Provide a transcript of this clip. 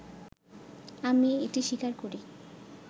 “আমি এটি স্বীকার করি